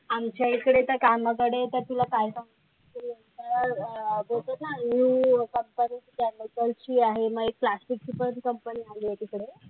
आमच्या इकडे तर कामाकडे तर तुला काय सांगायचं ते बोलतात ना, new company आहे. म्हणजे plastic चे पण company झाली आहे तिकडे.